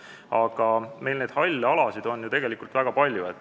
Aga neid halle alasid on ju tegelikult väga palju.